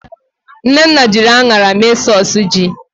Nnenna jiri aṅara mee sọs ji